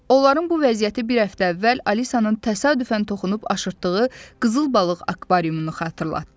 Onların bu vəziyyəti bir həftə əvvəl Alisanın təsadüfən toxunub aşıtdığı qızıl balıq akvariumunu xatırlatdı.